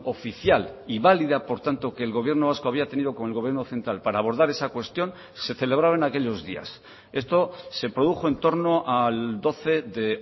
oficial y válida por tanto que el gobierno vasco había tenido con el gobierno central para abordar esa cuestión se celebraba en aquellos días esto se produjo en torno al doce de